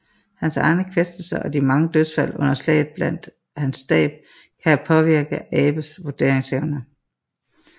Hans egne kvæstelser og de mange dødsfald under slaget blandt hans stab kan have påvirket Abes vurderingsevne